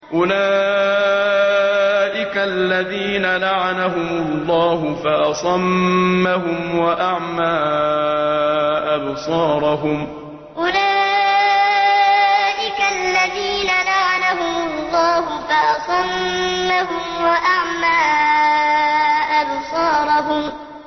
أُولَٰئِكَ الَّذِينَ لَعَنَهُمُ اللَّهُ فَأَصَمَّهُمْ وَأَعْمَىٰ أَبْصَارَهُمْ أُولَٰئِكَ الَّذِينَ لَعَنَهُمُ اللَّهُ فَأَصَمَّهُمْ وَأَعْمَىٰ أَبْصَارَهُمْ